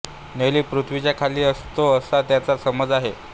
नेली पृथ्वीच्या खाली असतो असा त्यांचा समज आहे